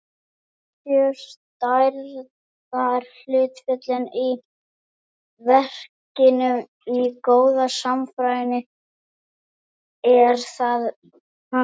Séu stærðarhlutföllin í verkinu í góðu samræmi, er það fagurt.